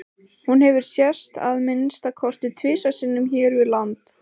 Hún hefur sést að minnsta kosti tvisvar sinnum hér við land.